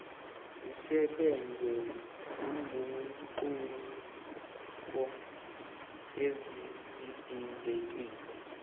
zisebenza nezinguquko ezidingekile